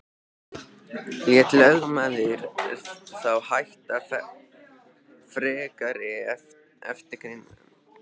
Lét lögmaður þá hætta frekari eftirgrennslan.